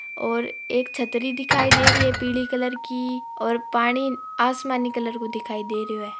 और एक छत्रि दिखय दे रही है पिली कलर की और पानी आसमानी कलर को दिखय दे रह है।